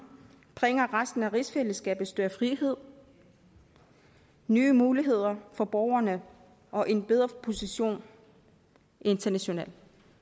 bringer resten af rigsfællesskabet større frihed nye muligheder for borgerne og en bedre position internationalt